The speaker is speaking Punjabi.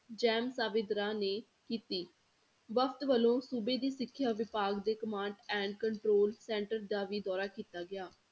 ਜੈਮ ਸਾਵੇਦਾਰਾਂ ਨੇ ਕੀਤੀ, ਵਕਤ ਵੱਲੋਂ ਸੂਬੇ ਦੀ ਸਿੱਖਿਆ ਵਿਭਾਗ ਦੇ command and control center ਦਾ ਵੀ ਦੌਰਾ ਕੀਤਾ ਗਿਆ।